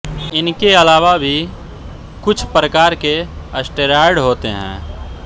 इनके अलावा भी कुछ प्रकार के स्टेरॉयड होते हैं